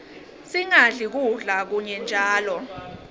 singadli kudla kunye njalo